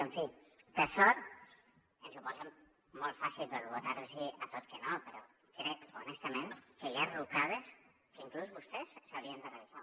en fi per sort ens ho posen molt fàcil per votar los a tot que no però crec honestament que hi ha rucades que inclús vostès haurien de revisar